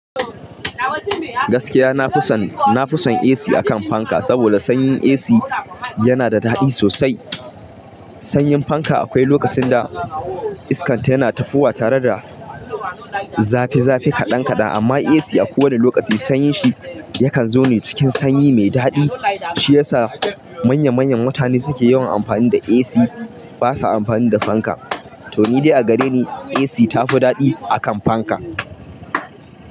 Gaskiya, na fi son, na fi son AC a kan fanka, saboda sanyin AC yana da daɗi sosai. Sanyin fanka akwai lokacin da iska tana tafowa tare da zafi zafi kaɗan kaɗan, amma AC a kowane lokaci sanyin shi yakan zo ne cikin sanyi mai daɗi. Shi ya sa manya manyan mutane suke yawan amfani da AC ba sa amfani da fanka. To ni dai a gare ni AC tafi daɗi a kan fanka.